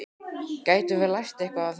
Getum við lært eitthvað af þessu?